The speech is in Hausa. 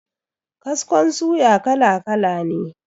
Kaskon suya kala kala ne.